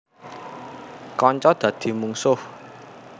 Kanca dadi mungsuh